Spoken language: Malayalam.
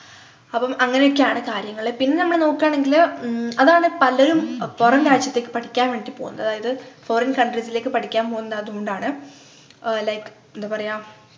അപ്പം അങ്ങനെയൊക്കെയാണ് കാര്യങ്ങള് പിന്നെ നമ്മള് നോക്കുകാണെങ്കില് ഉം അതാണ് പലരും പൊറം രാജ്യത്തേക്ക് പഠിക്കാനും വേണ്ടിട്ടു പോകുന്നത് അതായത് Foreign countries ലേക്ക് പഠിക്കാൻ പോകുന്നതു അത്കൊണ്ടാണ് ആഹ് like എന്താ പറയാ